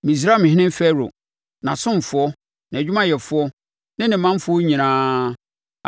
Misraimhene Farao, nʼasomfoɔ, nʼadwumayɛfoɔ ne ne manfoɔ nyinaa,